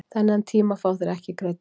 Þennan tíma fá þeir ekki greiddan